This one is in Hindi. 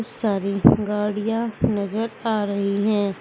सारी गाड़ियां नजर आ रही हैं।